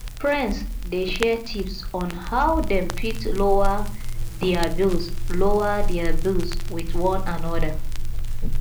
friends dey share tips on how dem fit lower dier bills lower dier bills with one another